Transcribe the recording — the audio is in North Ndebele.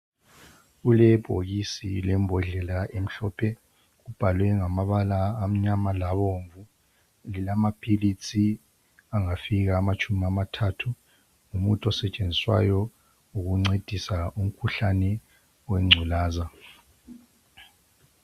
Kulebhokisi lembodlela emhlophe kubhalwe ngamabala amnyama labomvu. Ngelamaphilisi angafika amatshumi amathathu, ngumuthi osetshenziswayo ukuncedisa umkhuhlane wengculaza.